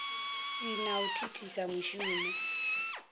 si na u thithisa mushumo